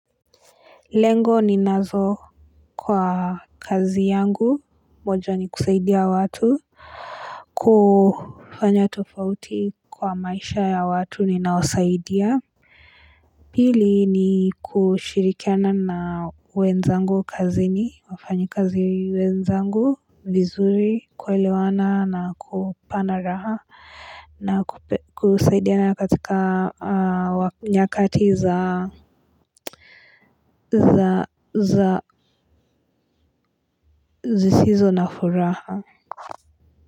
Lengo ni nazo kwa kazi yangu moja ni kusaidia watu kufanya tofauti kwa maisha ya watu ninaowasaidia pili ni kushirikiana na wenzangu kazini wafanyi kazi wenzangu vizuri kuelewana na kuponda raha na kusaidiana katika nyakati za zisizo na furaha.